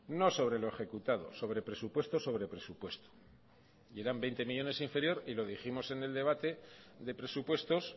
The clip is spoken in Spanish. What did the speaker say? no sobre lo ejecutado sobre presupuesto sobre presupuesto eran veinte millónes inferior y los dijimos en el debate de presupuestos